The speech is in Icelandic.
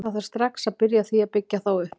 Það þarf strax að byrja á því að byggja þá upp.